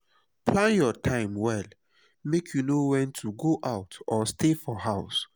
plan your time well make you know wen to go out or stay for house.